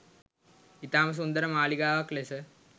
ඉතාම සුන්දර මාලිගාවක් ලෙස